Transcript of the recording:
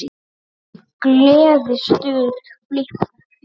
Gleði, stuð, flipp og fjör.